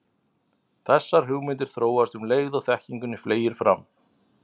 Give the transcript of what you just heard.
Þessar hugmyndir þróast um leið og þekkingunni fleygir fram.